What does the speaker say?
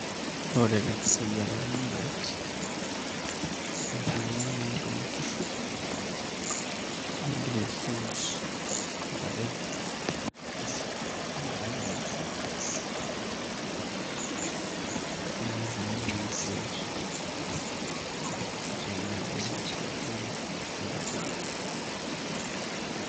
Ore tenkisujare eramatare interu ake naai toonkishu nintoki aisuj intare nibaraki ilasho niigil ake naai aisuj ashu tenaa ildiain nisuaki oloti dip.